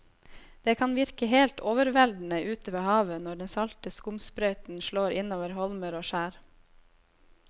Det kan virke helt overveldende ute ved havet når den salte skumsprøyten slår innover holmer og skjær.